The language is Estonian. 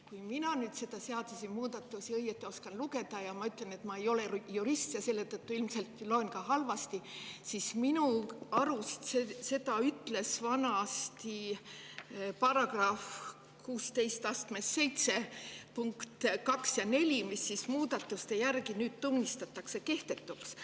Kui mina seda seadusemuudatust õieti oskan lugeda – ja ma ütlen, et ma ei ole jurist ja selle tõttu ilmselt loen seda ka halvasti –, siis minu arust seda ütlesid vanasti § 167 punkt 4, mis muudatuste järgi tunnistatakse nüüd kehtetuks.